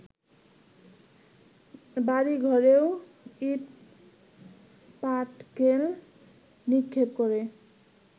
বাড়িঘরেও ইটপাটকেল নিক্ষেপ করে